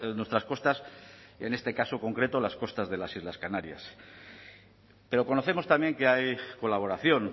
nuestras costas en este caso concreto las costas de las islas canarias pero conocemos también que hay colaboración